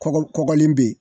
Kɔgɔ kɔgɔlen bɛ yen.